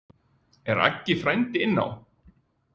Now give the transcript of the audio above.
Er Aggi frændi inná?